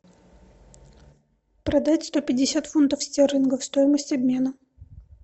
продать сто пятьдесят фунтов стерлингов стоимость обмена